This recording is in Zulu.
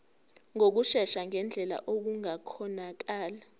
ngokushesha ngendlela okungakhonakala